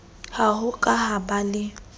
ha ho ka ba le